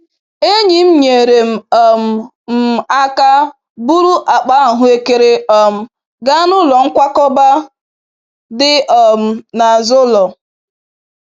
Enyi m nyeere um m aka buru akpa ahụekere um gaa n'ụlọ nkwakọba dị um n'azụ ụlọ.